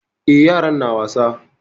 Eh, yaran na wasa.